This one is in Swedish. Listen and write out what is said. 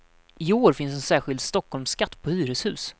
I år finns en särskild stockholmsskatt på hyreshus.